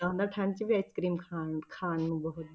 ਹੁੰਦਾ ਠੰਢ 'ਚ ਵੀ ice cream ਖਾਣ ਖਾਣ ਨੂੰ ਬਹੁਤ।